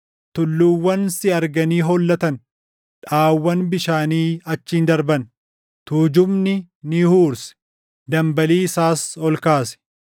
tulluuwwan si arganii hollattan. Dhaʼaawwan bishaanii achiin darban; tuujubni ni huurse; dambalii isaas ol kaase.